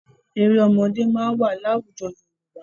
Eré ọmọdé máa wà láwùjọ Yorùbá.